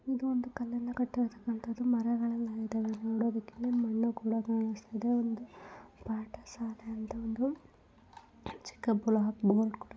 ಇದು ಒಂದು ಕಟ್ಟಡದ ಕಲ್ಲುಗಳು ಕಾಣುತ್ತಿದೆ ಮರಗಳು ಇದ್ದಾವೆ ನೋಡುವುದಕ್ಕೆ ಮಣ್ಣು ಕೂಡ ಕಾಣುಸ್ತಿದೆ ಇದು ಒಂದು ಪಾಠಶಾಲೆ ಎಂದು ಒಂದು ಚಿಕ್ಕ ಬೋರ್ಡ್ ಕೂಡ--